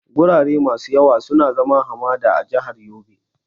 Gurare masu yawa sun zama hamada a jihar Yobe.